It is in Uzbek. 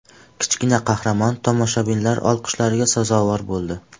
Kichkina qahramon tomoshabinlar olqishlariga sazovor bo‘ldi.